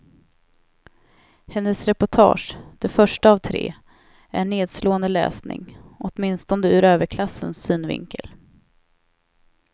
Hennes reportage, det första av tre, är nedslående läsning, åtminstone ur överklassens synvinkel.